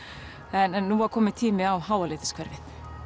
en nú var kominn tími á